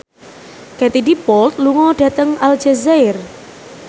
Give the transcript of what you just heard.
Katie Dippold lunga dhateng Aljazair